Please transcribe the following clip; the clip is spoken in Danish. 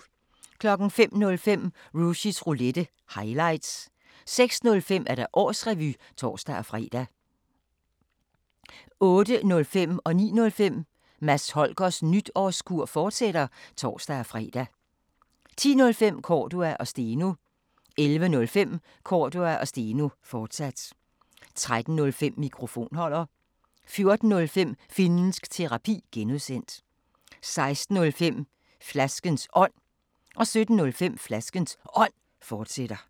05:05: Rushys Roulette – highlights 06:05: Årsrevy (tor-fre) 08:05: Mads Holgers Nytårskur, fortsat (tor-fre) 09:05: Mads Holgers Nytårskur, fortsat (tor-fre) 10:05: Cordua & Steno 11:05: Cordua & Steno, fortsat 13:05: Mikrofonholder 14:05: Finnsk Terapi (G) 16:05: Flaskens Ånd 17:05: Flaskens Ånd, fortsat